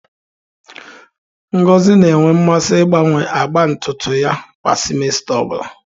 Ngosi na-enwe mmasị ịgbanwe agba ntutu ya kwa simesita ọ bụla.